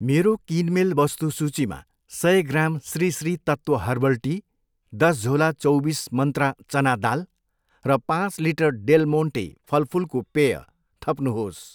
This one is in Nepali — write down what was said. मेरो किनमेल वस्तु सूचीमा सय gram Shri Shri Tattva herbal tea, दस झोला चैबिस मन्त्रा चना दाल र पाँच लिटर डेल मोन्टे फलफुलको पेय थप्नुहोस्।